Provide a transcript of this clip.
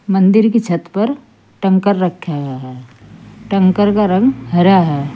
मंदिर की छत पर टैंकर रखें गए है टैंकर का रंग हरा है।